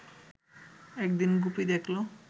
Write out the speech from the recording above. একদিন গুপি দেখল